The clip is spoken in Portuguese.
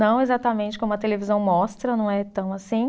Não exatamente como a televisão mostra, não é tão assim.